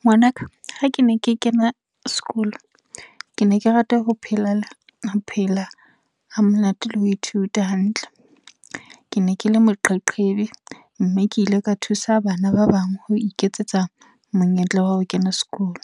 Ngwanaka. Ha ke ne ke kena sekolo, ke ne ke rata ho phelela, ho phela ha monate le ho ithuta hantle. Kene kele moqeqebi, mme ke ile ka thusa bana ba bang ho iketsetsa monyetla wa ho kena sekolo.